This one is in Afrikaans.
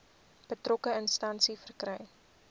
betrokke instansie verkry